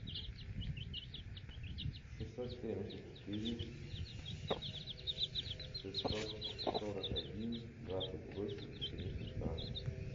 шестьсот семьдесят четыре шестьсот сорок один двадцать восемь семьдесят два